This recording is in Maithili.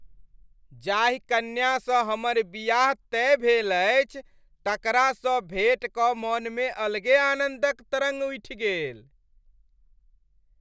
जाहि कन्या सँ हमर बियाह तय भेल अछि तकरासँ भेट कऽ मनमे अलगे आनन्दक तरङ्ग उठि गेल।